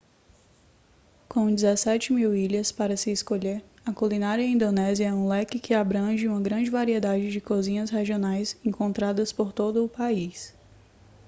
com 17.000 ilhas para se escolher a culinária indonésia é um leque que abrange uma grande variedade de cozinhas regionais encontradas por todo o país